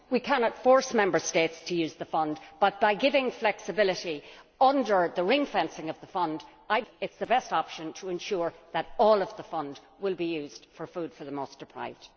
We cannot force Member States to use the fund but, I believe that giving flexibility under the ring fencing of the fund is the best option to ensure that all of the fund will be used for food for the most deprived.